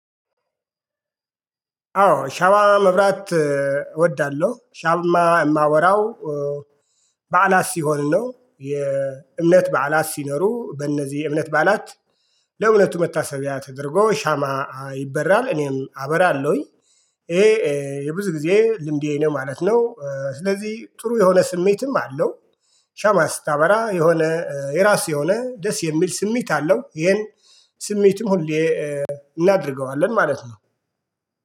አዎ ሻማ መብራት እወዳለው ሻማ የማባራው በዓላት ሲሆን ነው የእምነት በዓላት ሲኖሩ በእነዚህ የእምነት በዓላት። ለእውነቱ መታሰቢያ ተደርጎ ሻማ ይበራል እኔም አበራለሁኝ። ይሄ የብዙ ጊዜ ልምዴ ነው ማለት ነው። ስለዚህ ጥሩ የሆነ ስሜትም አለው። ሻማ ስታበራ የሆነ የራስ የሆነ ደስ የሚል ስሜት አለው ይሄን። ስሜትም ሁሌ እናደርገዋለን ማለት ነው